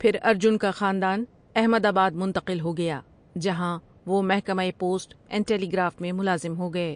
پھر ارجن کا خاندان احمد آباد منتقل ہو گیا جہاں وہ محکمہ پوسٹ اینڈ ٹییگراف میں ملازم ہو گئے ۔